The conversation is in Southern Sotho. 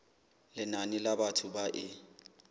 lenane la batho ba e